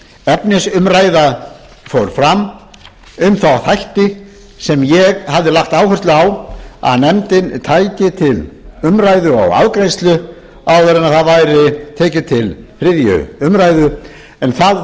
efnisumræða fór fram um þá þætti sem ég hafði lagt áherslu á að nefndin tæki til umræðu og afgreiðslu áður en það væri tekið til þriðju umræðu en það varð eins og